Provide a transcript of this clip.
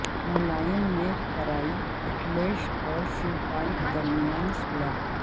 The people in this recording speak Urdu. ملائم نے کرائی اکھلیش اور شیو پال کے درمیان صلح